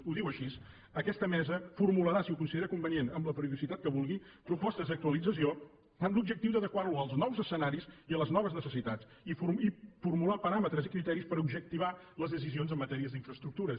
ho diu així aquesta mesa formularà si ho considera convenient amb la periodicitat que vulgui propostes d’actualització amb l’objectiu d’adequar lo als nous escenaris i a les noves necessitats i formular paràmetres i criteris per objectivar les decisions en matèria d’infraestructures